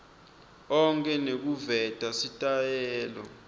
onkhe nekuveta sitayela